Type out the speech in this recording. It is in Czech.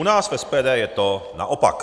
U nás v SPD je to naopak.